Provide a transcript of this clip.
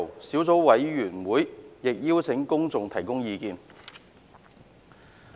小組委員會亦有邀請公眾提交書面意見。